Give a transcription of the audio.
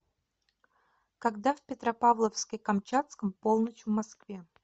когда в петропавловске камчатском полночь в москве